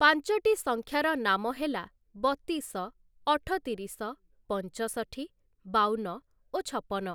ପାଞ୍ଚଟି ସଂଖ୍ୟାର ନାମ ହେଲା ବତିଶ, ଅଠତିରିଶ, ପଞ୍ଚଷଠି, ବାଉନ ଓ ଛପନ ।